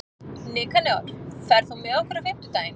Nikanor, ferð þú með okkur á fimmtudaginn?